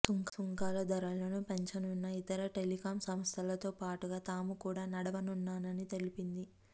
సుంకాల ధరలను పెంచనున్న ఇతర టెలికాం సంస్థలతో పాటుగా తాము కూడా నడవనున్నామని తెలిపింది